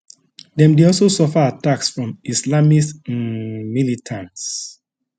dem dey also suffer attacks from islamist um militants